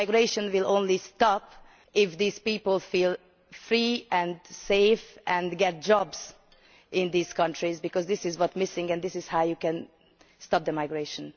The migration will only stop if these people feel free and safe and get jobs in these countries, because this is what is missing and this is how you can stop the migration.